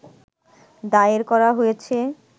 দায়ের করা হয়েছে